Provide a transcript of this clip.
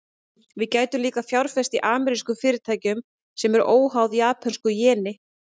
Við gætum líka fjárfest í amerískum fyrirtækjum, sem eru óháð japönsku jeni.